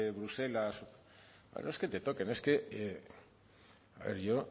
bruselas no es que te toquen es que a ver yo